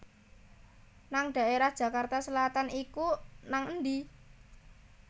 nang daerah Jakarta Selatan iku nang endi?